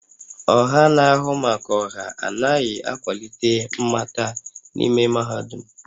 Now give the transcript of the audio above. Ọha na-ahụ maka ọha anaghị akwalite mmata n'ime mahadum